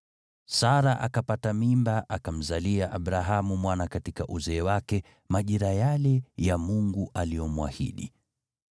Sara akapata mimba, akamzalia Abrahamu mwana katika uzee wake, majira yale ya Mungu aliomwahidi.